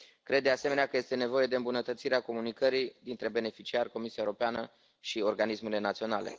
Cred, de asemenea, că este nevoie de îmbunătățirea comunicării dintre beneficiari, Comisia Europeană și organismele naționale.